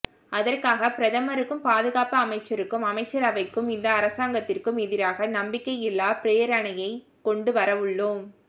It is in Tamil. அதற்காக பிரதமருக்கும் பாதுகாப்பு அமைச்சருக்கும் அமைச்சரவைக்கும் இந்த அரசாங்கத்திற்கும் எதிராக நம்பிக்கையில்லா பிரேரணையை கொண்டு வரவுள்ளோம்